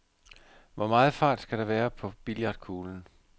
Hvor meget fart skal der være på billiardkuglen?